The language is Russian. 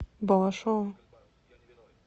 балашова